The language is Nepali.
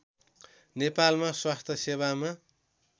नेपालमा स्वास्थ्य सेवामा